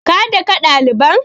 Ka daka ɗaliban!